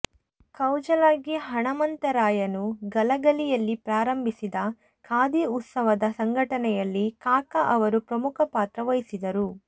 ಕೌಜಲಗಿ ಹಣಮಂತರಾಯರು ಗಲಗಲಿಯಲ್ಲಿ ಪ್ರಾರಂಭಿಸಿದ ಖಾದೀ ಉತ್ಪಾದನ ಸಂಘಟನೆಯಲ್ಲಿ ಕಾಕಾ ಅವರು ಪ್ರಮುಖ ಪಾತ್ರ ವಹಿಸಿದರು